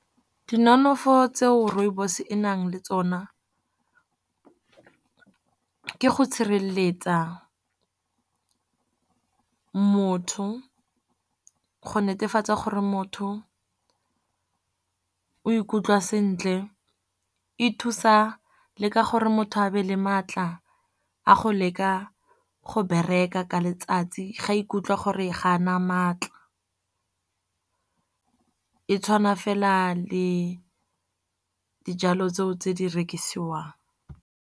Dinonofo tseo rooibos e nang le tsona ke go sireletsa motho, go netefatsa gore motho o ikutlwa sentle. E thusa le ka gore motho a be le maatla a go leka go bereka ka letsatsi, ga ikutlwa gore ga a na maatla. E tshwana fela le dijalo tseo tse di rekisiwang.